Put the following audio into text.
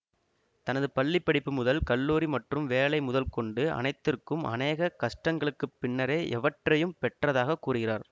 தனது பள்ளி படிப்பு முதல் கல்லூரி மற்றும் வேலை முதல்கொண்டு அனைத்திற்கும் அனேக கஷ்டங்களுக்கு பின்னரே எவற்றையும் பெற்றதாக கூறுகிறார்